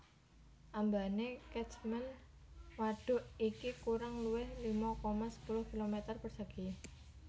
Ambane Catchment wadhuk iki kurang luwih lima koma sepuluh kilometer persegi